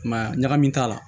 I m'a ye ya ɲagami t'a la